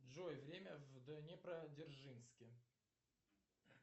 джой время в днепродзержинске